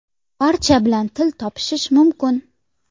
Barcha bilan til topishish mumkin.